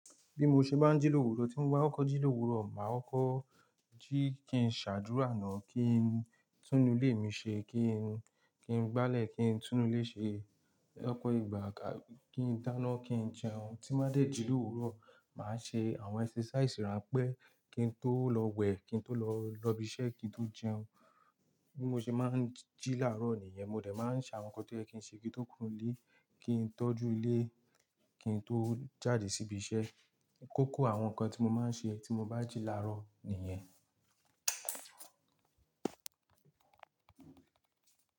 Bí mo ṣe máa ń jí l'òwúrò, tí mo bá kọko jí l'òwúrò, màá kọkọ jí kí n ṣàdúrà náà, kí n tún inú ilé mi ṣe, kí n, kí n gbálẹ̀, kí n tún nu ilé ṣe, lopo ìgbà ka kí n dáná, kí n jẹun. Tí máa dẹ̀ jí l'òwúrò, màá ṣe àwọn ẹ́sẹ́sàísì ránpẹ́, kí n tó lọ wẹ̀, kí n tó lọ lọ ibi iṣẹ́, kí n tó jẹun. Bí mo ṣe máa ń jí làárọ̀ nìyẹn, mo dẹ̀ máa ń ṣe àwọn nǹkan tí oye kin ṣe kí n tó kuro nlé, kí n tọ́jú ilé, kí n tó jáde sí ibi iṣẹ́. Kókó àwọn nǹkan tí mo máa ń ṣe tí mo bá jí làárọ̀ nìyẹn.